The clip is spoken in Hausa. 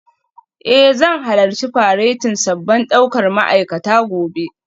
Eh zan halarci faretin sabbin daukar ma'aikata gobe